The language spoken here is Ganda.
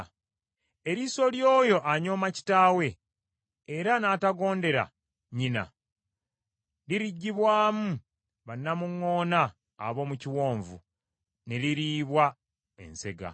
Eriiso ly’oyo anyooma kitaawe, era n’atagondera nnyina, liriggibwamu bannamuŋŋoona ab’omu kiwonvu, ne liriibwa ensega.